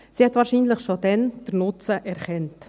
Sie hat wahrscheinlich den Nutzen schon damals erkannt.